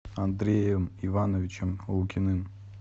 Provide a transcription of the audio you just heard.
андреем ивановичем лукиным